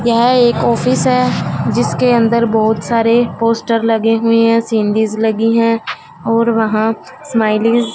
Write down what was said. यह एक ऑफिस है जिसके अंदर बहोत सारे पोस्टर लगे हुए हैं सीनिरिस लगी है और वहां स्माइली --